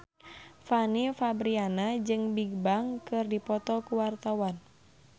Fanny Fabriana jeung Bigbang keur dipoto ku wartawan